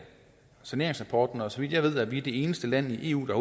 saneringsrapporten og så vidt jeg ved er vi det eneste land i eu der